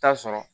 Taa sɔrɔ